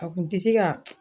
A kun te se ka